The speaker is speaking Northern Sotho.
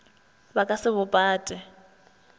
ba ka se bo pate